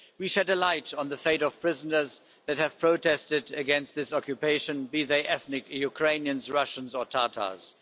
We shed a light on the fate of prisoners that have protested against this occupation, be they ethnic Ukrainians, Russians or Tatars.